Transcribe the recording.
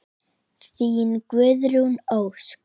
Þín, Guðrún Ósk.